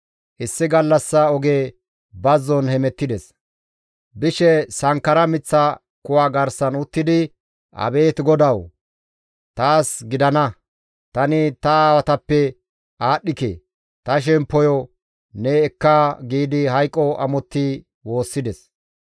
Issi gallassa oge bazzon hemettides. Bishe sankkara miththa kuwa garsan uttidi, «Abeet GODAWU! Taas gidana; tani ta aawatappe aadhdhike. Ta shemppoyo ne ekka» giidi hayqo amotti woossides.